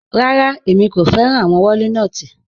Rárá, ẹ̀mi kò fẹ̀ràn awọn wọ̀línotí